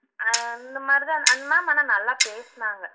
அஹ் அந்த மாதிரி தான் அந்த ma'am ஆனா நல்லா பேசுனாங்க